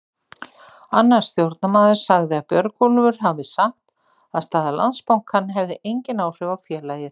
Annar stjórnarmaður sagði að Björgólfur hafi sagt að staða Landsbankans hefði engin áhrif á félagið.